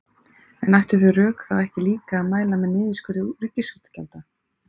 En ættu þau rök þá ekki líka að mæla með niðurskurði ríkisútgjalda?